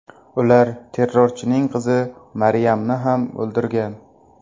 Ular terrorchining qizi Maryamni ham o‘ldirgan.